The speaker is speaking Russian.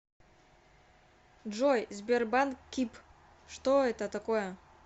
джой сбербанк киб что это такое